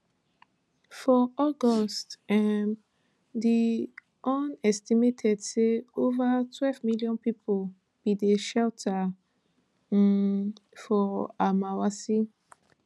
for august um di un estimate say ova twelve million pipo bin dey shelter um for almawasi